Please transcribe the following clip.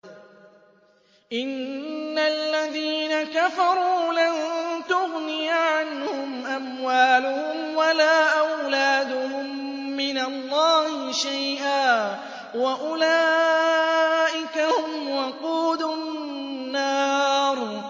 إِنَّ الَّذِينَ كَفَرُوا لَن تُغْنِيَ عَنْهُمْ أَمْوَالُهُمْ وَلَا أَوْلَادُهُم مِّنَ اللَّهِ شَيْئًا ۖ وَأُولَٰئِكَ هُمْ وَقُودُ النَّارِ